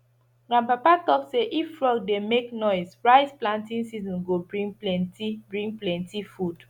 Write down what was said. grandpapa talk say if frog dey make noise rice planting season go bring plenty bring plenty food